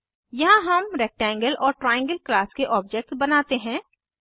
यहाँ हम रेक्टेंगल और ट्राइएंगल क्लास के ऑब्जेक्ट्स बनाते हैं